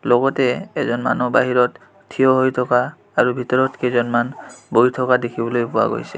লগতে এজন মানু্হ বাহিৰত থিয় হৈ থকা আৰু ভিতৰত কেইজনমান বহি থকা দেখিবলৈ পোৱা গৈছে।